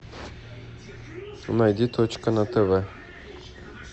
найди точка на тв